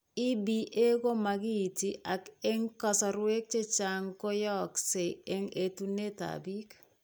EBA ko makiinti ak eng' kasarwek chechang' koyaaykse eng' etuneap biik.